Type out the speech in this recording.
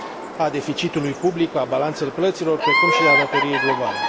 a deficitului public, a balanței plăților, precum și a datoriei globale.